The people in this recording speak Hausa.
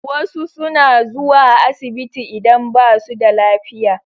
Wasu suna zuwa asibiti idan ba su da lafiya.